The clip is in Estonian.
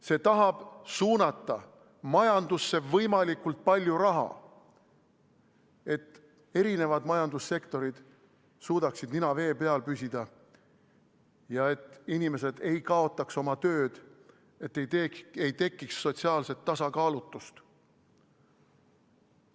See tahab suunata majandusse võimalikult palju raha, et eri majandussektorid suudaksid nina vee peal hoida ja et inimesed ei kaotaks tööd, ei tekiks sotsiaalset tasakaalutust.